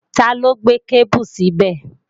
Taló gbé kébù síbẹ̀?